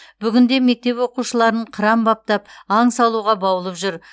бүгінде мектеп оқушыларын қыран баптап аң салуға баулып жүр